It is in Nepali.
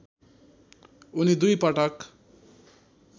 उनी दुई पटक